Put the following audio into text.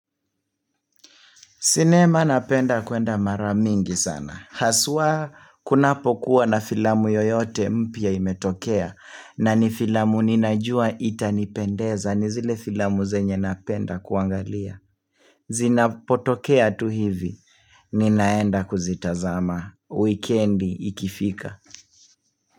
Sinema napenda kwenda mara mingi sana, haswa kunapokua na filamu yoyote mpya imetokea, na ni filamu ninajua itanipendeza ni zile filamu zenye napenda kuangalia. Zinapotokea tu hivi, ninaenda kuzitazama weekend ikifika.